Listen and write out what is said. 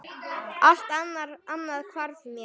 Allt annað hvarf mér.